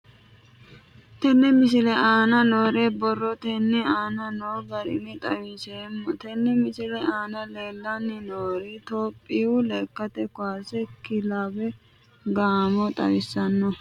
Tenne misile aana noore borrotenni aane noo garinni xawiseemo. Tenne misile aana leelanni nooerri Toophiyu lekkate kaase kilawe gaamo xawissanno.